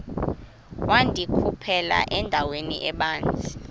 wandikhuphela endaweni ebanzi